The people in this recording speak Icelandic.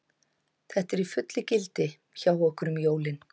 Þetta er í fullu gildi hjá okkur um jólin.